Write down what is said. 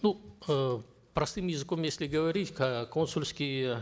ну э простым языком если говорить э консульские